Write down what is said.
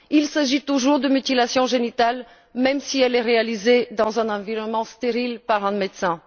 Il s'agit toujours d'une mutilation génitale même si elle est réalisée dans un environnement stérile par un médecin.